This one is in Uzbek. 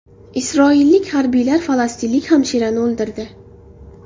Isroillik harbiylar falastinlik hamshirani o‘ldirdi.